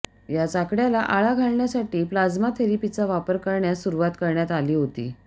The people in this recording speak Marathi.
याच आकड्याला आळा घालण्यासाठी प्लाझ्मा थेरेपीचा वापर करण्यास सुरुवात करण्यात आली होती